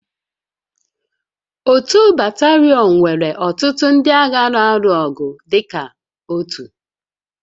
Otu batalion nwere ọtụtụ ndị agha na-arụ ọrụ dịka otu